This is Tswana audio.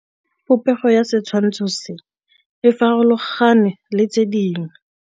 Popêgo ya setshwantshô se, e farologane le tse dingwe.